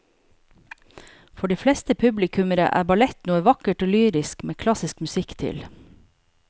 For de fleste publikummere er ballett noe vakkert og lyrisk med klassisk musikk til.